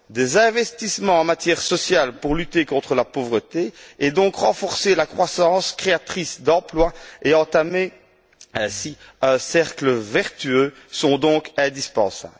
Des investissements en matière sociale pour lutter contre la pauvreté et donc renforcer la croissance créatrice d'emplois et entamer ainsi un cercle vertueux sont donc indispensables.